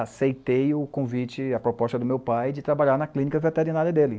Aceitei o convite, a proposta do meu pai de trabalhar na clínica veterinária dele.